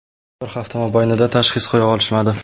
Bir hafta mobaynida tashxis qo‘ya olishmadi.